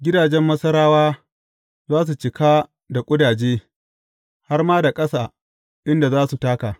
Gidajen Masarawa za su cika da ƙudaje, har ma da ƙasa inda za su taka.